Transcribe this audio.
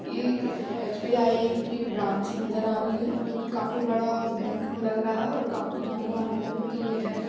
ये एक एस.बी.आई की ब्रांच नज़र आ रही है जोकि काफी बड़ा बैंक लग रहा है और काफी जाना माना बैंक ये है।